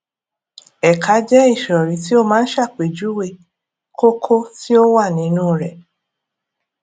ẹka jẹ ìsòrí tí ó máa ń ṣàpèjúwe kókó tí ó wà nínú rẹ